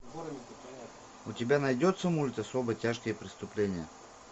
у тебя найдется мульт особо тяжкие преступления